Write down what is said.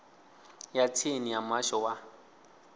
ya tsini ya muhasho wa